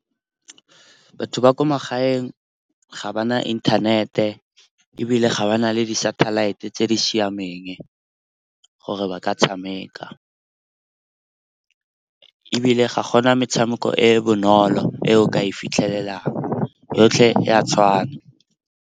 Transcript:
Batho ba ko magaeng ga ba na inthanete ebile ga ba na le di-satellite tse di siameng gore ba ka tshameka. Ebile ga gona metshameko e e bonolo eo ka e fitlhelang, yotlhe ya tshwana.